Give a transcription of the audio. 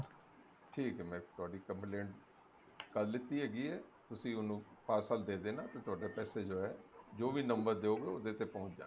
ਠੀਕ ਐ ਮੈਂ ਤੁਹਾਡੀ complaint ਕਰ ਲੀਤੀ ਹੈਗੀ ਐ ਤੁਸੀਂ ਉਹਨੂੰ parcel ਦੇ ਦੇਣਾ ਤੇ ਤੁਹਾਡੇ ਪੈਸੇ ਜੋ ਹੈ ਜੋ ਵੀ number ਦਿਓਗੇ ਉਹਦੇ ਤੇ ਪਹੁੰਚ ਜਾਣਗੇ